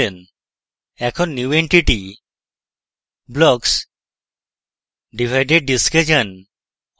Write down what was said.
এখন new entity>> blocks>> divided disk এ যান